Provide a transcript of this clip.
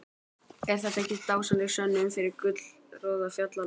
Er þetta ekki dásamleg sönnun fyrir gullroða fjallanna?